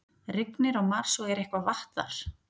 Rignir á Mars og er eitthvað vatn þar?